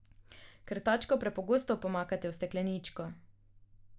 Krtačko prepogosto pomakate v stekleničko.